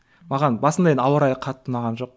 маған басында енді ауа райы қатты ұнаған жоқ